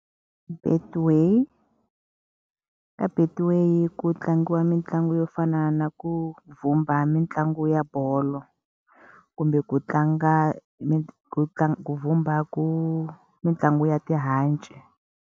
Betway. Ka Betway ku tlangiwa mitlangu yo fana na ku vhumba mitlangu ya bolo, kumbe ku tlanga vhumba ku mitlangu ya tihanci.